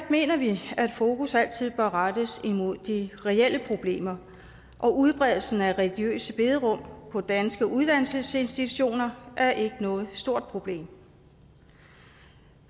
mener vi at fokus altid bør rettes mod de reelle problemer og udbredelsen af religiøse bederum på danske uddannelsesinstitutioner er ikke noget stort problem